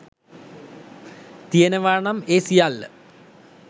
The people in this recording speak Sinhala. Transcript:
තියෙනවා නම් ඒ සියල්ල